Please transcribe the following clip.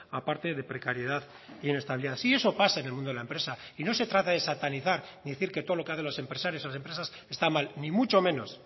aparte de precariedad e inestabilidad sí eso pasa en el mundo de la empresa y no se trata de satanizar ni de decir que todo lo que hacen los empresarios las empresas está mal ni mucho menos